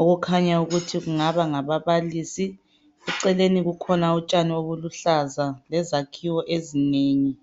okukhanya ukuthi kungaba ngababalisi eceleni kukhona utshani obuluhlaza lezakhiwo ezinengi